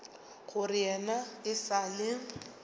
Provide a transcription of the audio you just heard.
gore yena e sa le